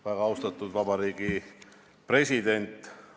Väga austatud Vabariigi President!